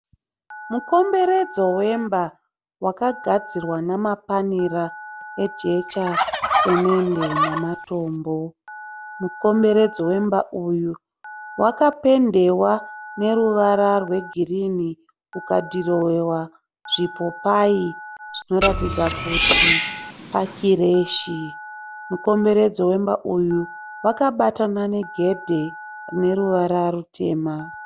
Mukomberedzo wemba wakagadzirwa namapanera ejecha, simende namatombo. Mukomberedzo wemba uyu wakapendewa neruvara rwegirini ukadhirowewa zvipopayi zvinoratidza kuti pakireshi. Mukomberedzo wemba uyu wakabatana negedhe rine ruvara rutema.